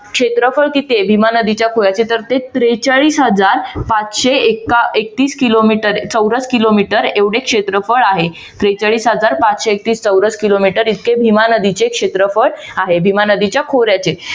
क्षेत्रफळ किती आहे भीमा नदीच्या खोऱ्याचे तर त्रेचाळीस हजार पाचशे एकतीस किलोमीटर चौरस किलोमीटर एवढे क्षेत्रफळ आहे. त्रेचाळीस हजार पाचशे एकतीस चौरस किलोमीटर इतके भीमा नदीचे क्षेत्रफळ आहे. भीमा नदीच्या खोऱ्याचे